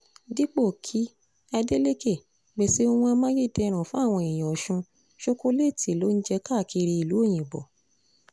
dípò kí adeleke pèsè ohun amáyédẹrùn fáwọn èèyàn ọ̀sùn ṣokoléètì ló ń jẹ́ káàkiri ìlú òyìnbó